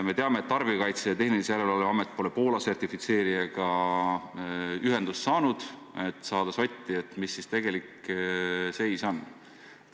Me teame, et Tarbijakaitse ja Tehnilise Järelevalve Amet pole Poola sertifitseerijaga ühendust saanud, et saada sotti, mis siis tegelik seis on.